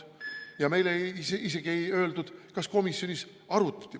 Meile isegi ei öeldud, kas komisjonis neid arutati.